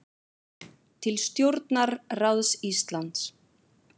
Til stjórnarráðs Íslands